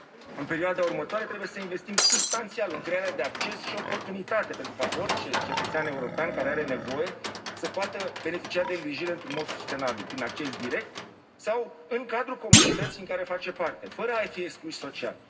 În perioada următoare, trebuie să investim substanțial în crearea de acces și oportunitate pentru ca orice cetățean european care are nevoie să poată beneficia de îngrijire într un mod sustenabil prin acces direct sau în cadrul comunității din care face parte, fără fi exclus social.